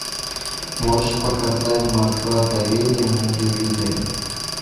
можешь показать москва доверие на телевизоре